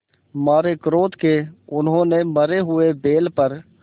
मारे क्रोध के उन्होंने मरे हुए बैल पर